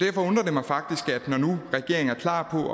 mig faktisk når nu regeringen er klar på